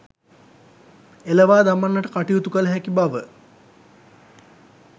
එළවා දමන්නට කටයුතු කළ හැකි බව